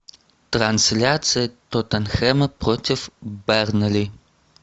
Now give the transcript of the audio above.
трансляция тоттенхэма против бернли